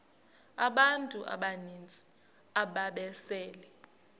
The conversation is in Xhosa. abantu abaninzi ababesele